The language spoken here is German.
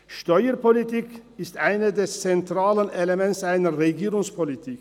Steuerpolitik ist eines der zentralen Elemente einer Regierungspolitik.